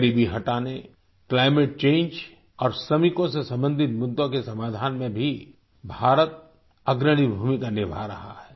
गरीबी हटाने climate change और श्रमिकों से संबंधित मुद्दों के समाधान में भी भारत अग्रणी भूमिका निभा रहे है